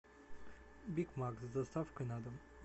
биг мак с доставкой на дом